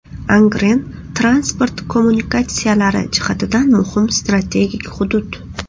Angren transport kommunikatsiyalari jihatidan muhim strategik hudud.